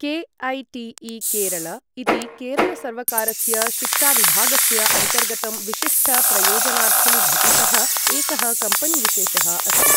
KATE. Kerala इति केरलसर्वकारस्य शिक्षाविभागस्य अन्तर्गतं विशिष्ट प्रयोजनार्थं घटितः एकः कम्पेनी विशेषः अस्ति।